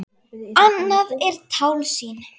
Annað er tálsýn.